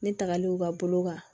Ne tagalen u ka bolo kan